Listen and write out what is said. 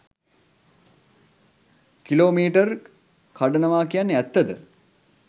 කිලෝමීටර්ක් කඩනවා කියන්නේ ඇත්තද?